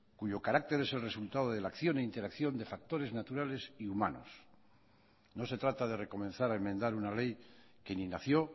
cuyo carácter es el resultado de la acción e interacción de factores naturales y humanos no se trata de recomenzar a enmendar una ley que ni nació